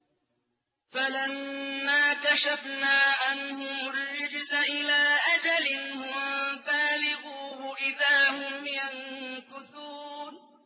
فَلَمَّا كَشَفْنَا عَنْهُمُ الرِّجْزَ إِلَىٰ أَجَلٍ هُم بَالِغُوهُ إِذَا هُمْ يَنكُثُونَ